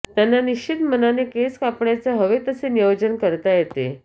त्यांना निश्चिंत मनाने केस कापण्याचे हवे तसे नियोजन करता येते